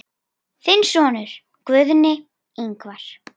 Þinn sonur, Guðni Ingvar.